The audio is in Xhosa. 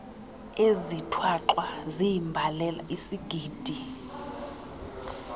ezithwaxwa ziimbalela isigidi